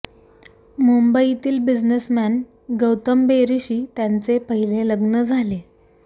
मुंबईतील बिझनेसमॅन गौतम बेरीशी त्यांचे पहिले लग्न झाले